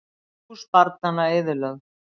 Hús barnanna eyðilögð